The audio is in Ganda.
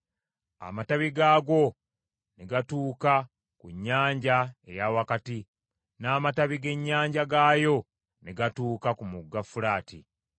Amatabi gaagwo ne gatuuka ku Nnyanja eya Wakati n’amatabi g’ennyanja gaayo ne gatuuka ku Mugga Fulaati.